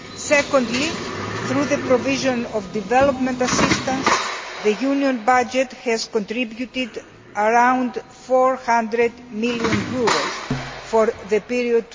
Secondly, through the provision of development assistance, the Union budget has contributed around EUR 400 million for the period